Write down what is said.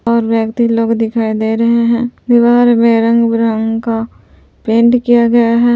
और व्यक्ति लोग दिखाई दे रहे हैं दीवार में रंग बिरंगे का पेंट किया गया है।